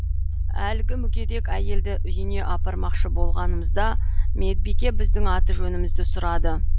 әлгі мүгедек әйелді үйіне апармақшы болғанымызда медбике біздің аты жөнімізді сұрады